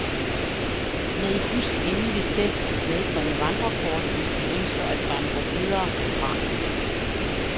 Med husk endelig selv at medbringe vandrekort, hvis du ønsker at vandre videre herfra.